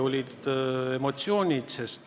Olid emotsioonid arvamusavaldused.